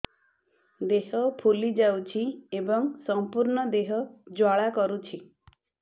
ଦେହ ଫୁଲି ଯାଉଛି ଏବଂ ସମ୍ପୂର୍ଣ୍ଣ ଦେହ ଜ୍ୱାଳା କରୁଛି